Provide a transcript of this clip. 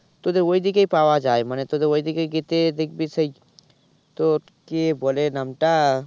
তোদের ওই দিকেই পাওয়া যায় মানে তোদের ওই দিকেই যেতে দেখবি সেই তোর কে বলে নামটা